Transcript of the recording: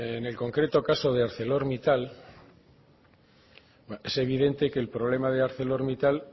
en el concreto caso de arcelormittal es evidente que el problema de arcelormittal